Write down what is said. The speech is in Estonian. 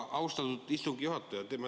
Austatud istungi juhataja!